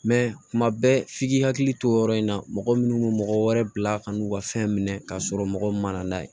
tuma bɛɛ f'i k'i hakili to o yɔrɔ in na mɔgɔ minnu bɛ mɔgɔ wɛrɛ bila ka n'u ka fɛn minɛ k'a sɔrɔ mɔgɔw ma na n'a ye